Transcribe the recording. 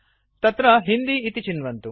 तत्र हिन्दी इति चिन्वन्तु